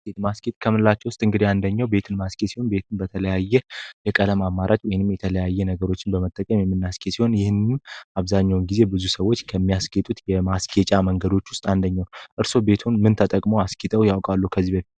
ቤት ማስጌጥ ከምንላቸዉ ዉስጥ እንግዲ አንደኘዉ ቤትን ማስጌጥ ሲሆን ቤትን በተለያየ የቀለም አማራጭ ወይንም የተለያየ ነገሮችን በመጠቀም የምናስኬድ ሲሆን ይህንንም አብዛኛዉን ጊዜ ብዙ ሰወች ከሚያስጌጡት የማስጌጫ መንገዶች ዉስጥ አንደኘዉ ነዉ። እርስወ ምንድን ተጠቅመዉ ቤትወን አስጊጠዉ ያቃሉ?